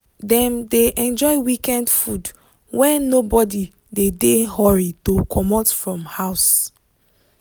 dem dey enjoy weekend food when nobody dey dey hurry to comot from house.